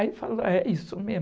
Aí ele falou, é isso mesmo.